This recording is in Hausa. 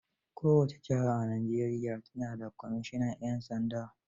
Kowace jiha a Najeriya ta na da kwamisinan 'yan sanda.